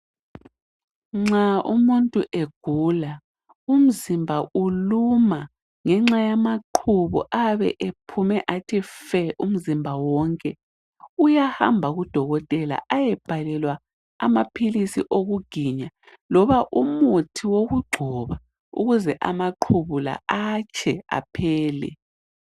Nxa umuntu egula umzimba uluma ngenxa yamaqhubu ayabe ephume athi fe umzimba wonke uyahamba kudokotela ayebhalelwa amaphilisi okuginya loba umuthi wokugcoba ukuze amaqhubu la atshe aphele.